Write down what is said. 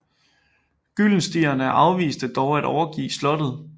Gyldenstierne afviste dog at overgive slottet